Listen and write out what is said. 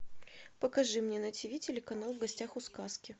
покажи мне на тв телеканал в гостях у сказки